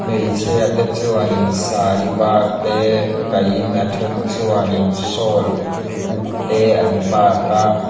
hmeichhia te chuan in sari var te kaih in a then chuan in sawl uk te an bat a.